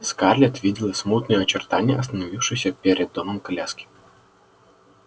скарлетт видела смутные очертания остановившейся перед домом коляски